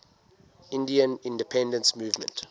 indian independence movement